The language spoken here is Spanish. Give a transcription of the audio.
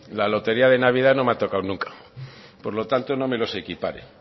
la lotería de navidad no me ha tocado nunca por lo tanto no me los equipare